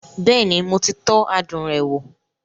Bẹ́ẹ̀ni, mo ti tọ́ adùn rẹ̀ wò